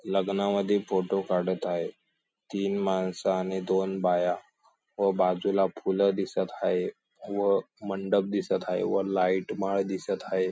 लग्नामध्ये फोटो काढत आहे तीन माणसं आणि दोन बाया व बाजूला फुलं दिसत हाये व मंडप दिसत हाये व लाईट माळ दिसत हाये.